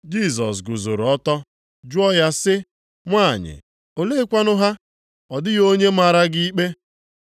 Jisọs guzoro ọtọ jụọ ya sị, \+wj “Nwanyị, oleekwanụ ha? Ọ dịghị onye mara gị ikpe?”\+wj*